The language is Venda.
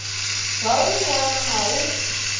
zwauri i wana na u